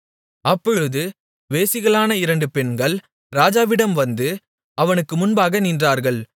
அப்பொழுது வேசிகளான இரண்டு பெண்கள் ராஜாவிடம் வந்து அவனுக்கு முன்பாக நின்றார்கள்